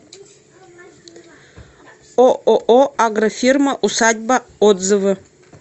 ооо агрофирма усадьба отзывы